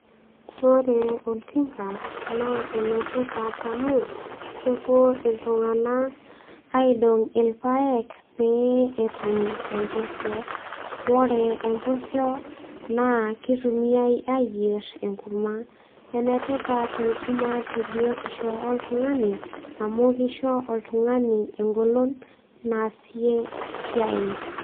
Ore oltinka naa enetipat amu kepuo iltunganak aidong irpaek pee etum empusio . Ore empusio naa kitumiay ayier enkurma. Enetipat enkurma tebiotisho oltungani amu kisho oltungani engolon naasie esiai.